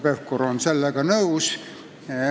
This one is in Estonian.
Pevkur on sellega nõus.